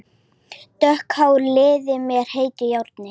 Dökkt hárið liðað með heitu járni.